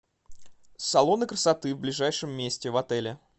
салоны красоты в ближайшем месте в отеле